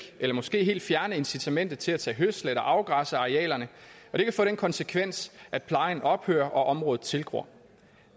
eller måske helt fjerne incitamentet til at tage hø og afgræsse arealerne og det kan få den konsekvens at plejen ophører og at området tilgror